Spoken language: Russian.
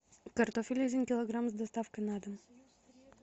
картофель один килограмм с доставкой на дом